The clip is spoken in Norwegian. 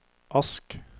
Ask